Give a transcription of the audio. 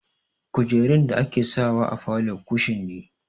Kujerun da ake sawa a falo kushin ne.